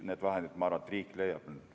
Need vahendid, ma arvan, riik leiab.